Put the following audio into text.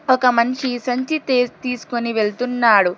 ఒక మనిషి సంచి తీస్ తీసుకొని వెళ్తున్నాడు.